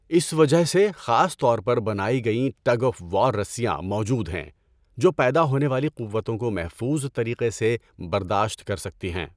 اس وجہ سے، خاص طور پر بنائی گئیں ٹگ آف وار رسیاں موجود ہیں جو پیدا ہونے والی قوتوں کو محفوظ طریقے سے برداشت کر سکتی ہیں۔